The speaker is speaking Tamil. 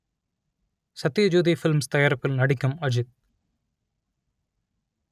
சத்யஜோதி ஃபிலிம்ஸ் தயாரிப்பில் நடிக்கும் அஜித்